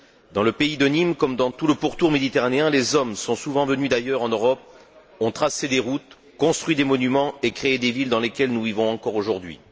Dans le pays de Nîmes comme dans tout le pourtour méditerranéen, les hommes sont souvent venus d'ailleurs en Europe, ont tracé des routes, construit des monuments et créé des villes dans lesquelles nous vivons encore aujourd'hui.